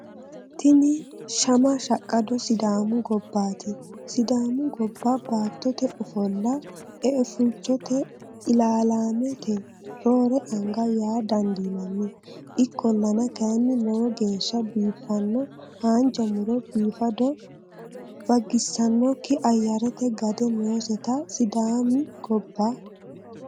Tini shama shaqqado sidaami gobbati, sidaami gobba baattote ofollo eafulchote ilalamete roore anga yaa dandiinanni ikkollanna kayainni lowo geeshsha biifano, haanja muro, biifado bagisanokki ayarete gade noosete sidaami gobba.